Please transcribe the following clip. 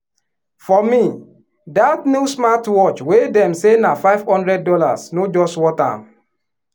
for me that new smartwatch wey dem say na five hundred dollars no just worth am.